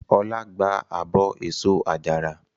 Ọlá gba abọ́ èso àjàrà.